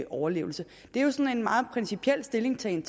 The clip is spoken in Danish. overlevelse det er jo sådan en meget principiel stillingtagen